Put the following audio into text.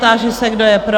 Táži se, kdo je pro?